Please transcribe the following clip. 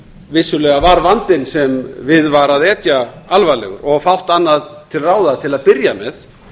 vissulega var vandinn sem við var að etja alvarlegur og fátt annað til ráða til að byrja með